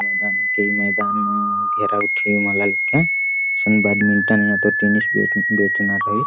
ई मैदान हिके मैदान नू घेरा गुट्ठी मल्ला लिग्गान इसन बैडमिन्टन या तो टेनिस बेचना रइई---